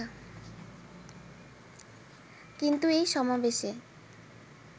কিন্তু এই সমাবেশে